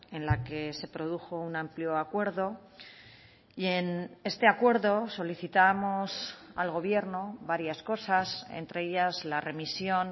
en la que se produjo un amplio acuerdo y en este acuerdo solicitábamos al gobierno varias cosas entre ellas la remisión